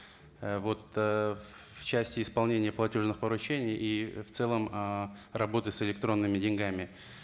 ы вот ыыы в части исполнения платежных поручений и в целом ыыы работы с электронными деньгами